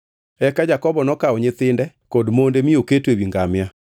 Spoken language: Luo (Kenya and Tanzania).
Eka Jakobo nokawo nyithinde kod monde mi oketo ewi ngamia,